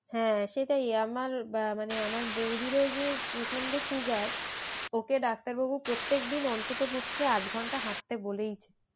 হ্যাঁ সেটাই আমার মানে আমার বৌদিরও যে প্রচন্ড সুগার ওকে ডাক্তার বাবু প্রত্যেকদিন অন্তত পক্ষে আধ ঘন্টা হাঁটতে বলেইছে।